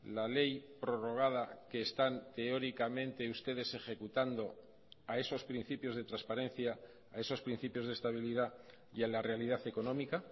la ley prorrogada que están teóricamente ustedes ejecutando a esos principios de transparencia a esos principios de estabilidad y a la realidad económica